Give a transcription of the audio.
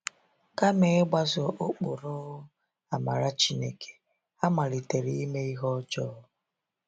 Kama ịgbaso ụkpụrụ amara Chineke, ha malitere ime ihe ọjọọ.